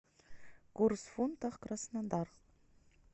курс фунта краснодар